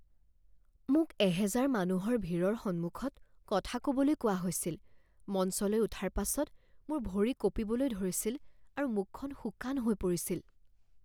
মোক এহেজাৰ মানুহৰ ভিৰৰ সন্মুখত কথা ক'বলৈ কোৱা হৈছিল। মঞ্চলৈ উঠাৰ পাছত মোৰ ভৰি কঁপিবলৈ ধৰিছিল আৰু মুখখন শুকান হৈ পৰিছিল।